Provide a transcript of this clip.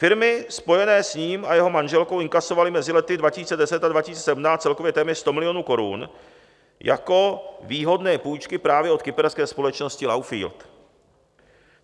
Firmy spojené s ním a jeho manželkou inkasovaly mezi lety 2010 a 2017 celkově téměř 100 milionů korun jako výhodné půjčky právě od kyperské společnosti Lowfield.